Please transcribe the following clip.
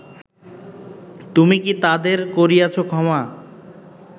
তুমি কী তাদের করিয়াছ ক্ষমা